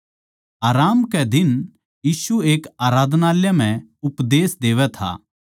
आराम कै दिन यीशु एक आराधनालय म्ह उपदेश देवै था